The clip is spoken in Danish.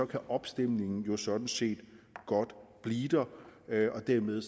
kan opstemningen jo sådan set godt blive der og dermed